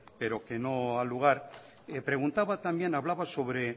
pero que no ha a lugar preguntaba también hablaba sobre